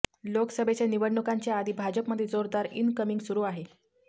लोकसभेच्या निवडणुकांच्या आधी भाजपमध्ये जोरदार इनकमिंग सुरु आहे